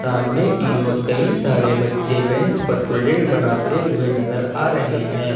सामने की ओर कई सारे बच्चे ब्रेंच पर प्रोजेक्ट बनाते हुए नजर आ रहे हैं।